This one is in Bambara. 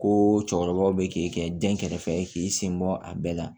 Ko cɛkɔrɔbaw be k'i kɛ dɛn kɛrɛfɛ k'i sen bɔ a bɛɛ la